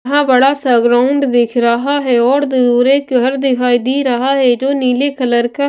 इतना बड़ा सा ग्राउंड दिख रहा है और दूर एक घर दिखाई दे रहा है जो नीले कलर का--